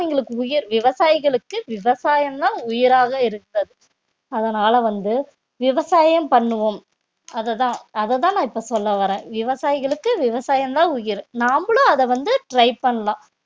அவங்களுக்கு உயிர் விவசாயிகளுக்கு விவசாயம்தான் உயிராக இருக்கிறது அதனால வந்து விவசாயம் பண்ணுவோம் அதுதான் அதத்தான் நான் இப்ப சொல்ல வர்றேன் விவசாயிகளுக்கு விவசாயம்தான் உயிர் நாமளும் அத வந்து try பண்ணலாம்